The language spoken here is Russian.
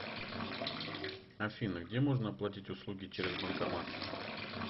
афина где можно оплатить услуги через банкомат